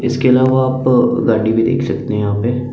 इसके अलावा आप गाड़ी भी देख सकते हैं यहां पे--